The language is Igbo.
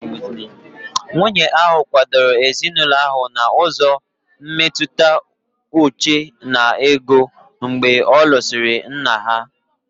Nwunye ahụ kwadoro ezinụlọ ahụ n'ụzọ mmetụta uche na ego mgbe ọ lụsịrị nne ha.